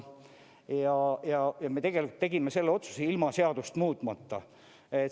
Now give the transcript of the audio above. Ja me tegime selle otsuse ilma seadust muutmata.